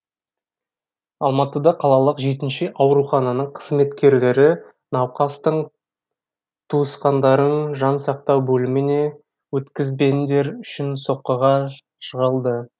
алматыда қалалық жетінші аурухананың қызметкерлері науқастың туысқандарын жан сақтау бөліміне өткізбендері үшін соққыға жығылды